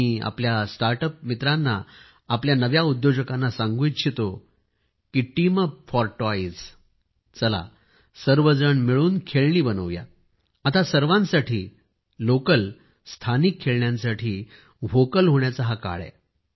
मी आपल्या स्टार्टअप मित्रांना आपल्या नव उद्योजकांना सांगू इच्छितो की टीम अप फॉर टॉइजचला सर्वजण मिळून खेळणी बनवूया आता सर्वांसाठी लोकलस्थानिक खेळण्यासाठी व्होकल होण्याचा हा काळ आहे